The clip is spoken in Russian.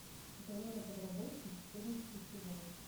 сатана на подработке четырнадцатый сезон